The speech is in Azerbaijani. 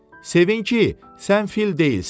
Sevin ki, sən fil deyilsən.